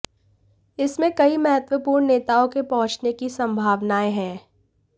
इसमें कई महत्वपूर्ण नेताओं के पहुंचने की संभावनाऐं हैं